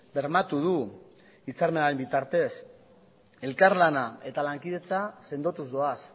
bermatu du hitzarmenaren bitartez elkarlana eta lankidetza sendotuz doaz